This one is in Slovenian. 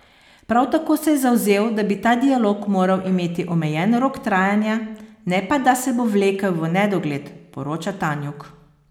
Prav tako se je zavzel, da bi ta dialog moral imeti omejen rok trajanja, ne pa da se bo vlekel v nedogled, poroča Tanjug.